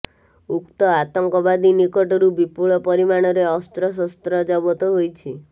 ଉକ୍ତ ଆତଙ୍କବାଦୀ ନିକଟରୁ ବିପୁଳ ପରିମାଣରେ ଅସ୍ତ୍ରଶସ୍ତ୍ର ଜବତ ହୋଇଛି